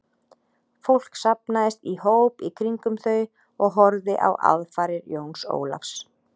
Fólk safnaðist í hóp í kringum þau og horfði á aðfarir Jóns Ólafs.